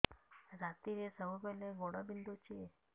ରାତିରେ ସବୁବେଳେ ଗୋଡ ବିନ୍ଧୁଛି